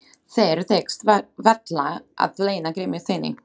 Þér tekst varla að leyna gremju þinni.